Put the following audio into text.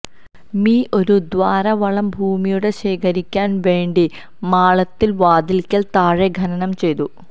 me ഒരു ദ്വാരം വളം ഭൂമിയും ശേഖരിക്കാൻ വേണ്ടി മാളത്തിൽ വാതിൽക്കൽ താഴെ ഖനനം ചെയ്തു